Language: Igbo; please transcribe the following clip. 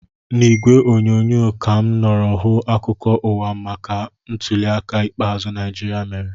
N'ìgwè onyonyo ka mụ nọrọ hụ akụkọ ụwa maka ntuli aka ikpeazụ Naijiria mere